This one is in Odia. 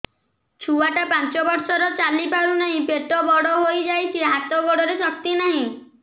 ଛୁଆଟା ପାଞ୍ଚ ବର୍ଷର ଚାଲି ପାରୁ ନାହି ପେଟ ବଡ଼ ହୋଇ ଯାଇଛି ହାତ ଗୋଡ଼ରେ ଶକ୍ତି ନାହିଁ